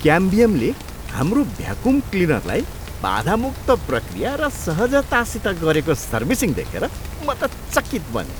क्याम्बियमले हाम्रो भ्याकुम क्लिनरलाई बाधामुक्त प्रक्रिया र सहजतासित गरेको सर्विसिङ देखेर म त चकित बनेँ।